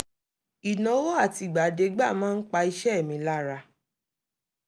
ìnáwó àtìgbàdégbà máa ń pa iṣẹ́ mi lára